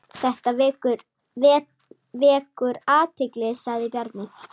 Þetta vekur athygli sagði Bjarni.